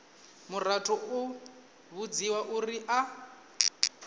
muraḓo u vhudziwa uri a